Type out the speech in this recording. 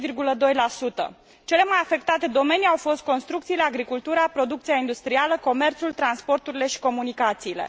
10,2 Cele mai afectate domenii au fost construcțiile, agricultura, producția industrială, comerțul, transporturile și comunicațiile.